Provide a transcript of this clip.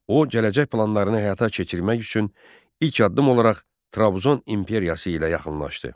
O gələcək planlarını həyata keçirmək üçün ilk addım olaraq Trabzon imperiyası ilə yaxınlaşdı.